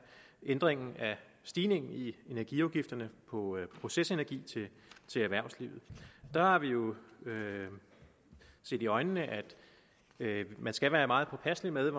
ændring af stigningen i energiafgifterne på procesenergi til erhvervslivet der har vi jo set i øjnene at man skal være meget påpasselig med